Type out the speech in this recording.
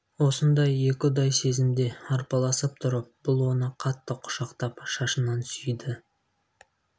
осындай екі ұдай сезімде арпалысып тұрып бұл оны қатты құшақтап шашынан сүйді